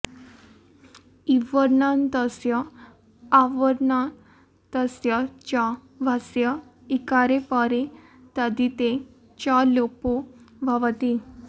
इवर्णान्तस्य अवर्णातस्य च भस्य इकारे परे तद्धिते च लोपो भवति